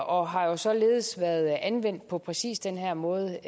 og har jo således været anvendt på præcis den her måde